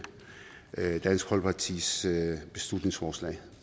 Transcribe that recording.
dansk folkepartis beslutningsforslag